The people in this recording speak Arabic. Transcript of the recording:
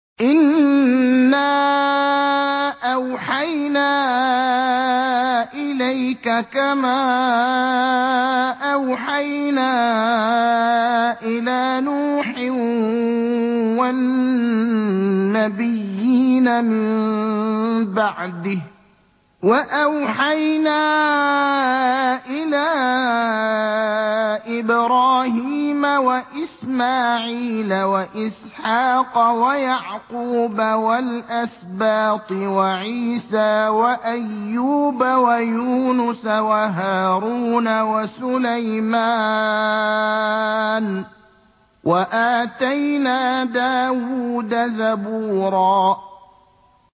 ۞ إِنَّا أَوْحَيْنَا إِلَيْكَ كَمَا أَوْحَيْنَا إِلَىٰ نُوحٍ وَالنَّبِيِّينَ مِن بَعْدِهِ ۚ وَأَوْحَيْنَا إِلَىٰ إِبْرَاهِيمَ وَإِسْمَاعِيلَ وَإِسْحَاقَ وَيَعْقُوبَ وَالْأَسْبَاطِ وَعِيسَىٰ وَأَيُّوبَ وَيُونُسَ وَهَارُونَ وَسُلَيْمَانَ ۚ وَآتَيْنَا دَاوُودَ زَبُورًا